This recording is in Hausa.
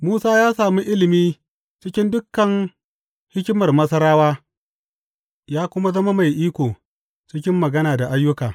Musa ya sami ilimi cikin dukan hikimar Masarawa ya kuma zama mai iko cikin magana da ayyuka.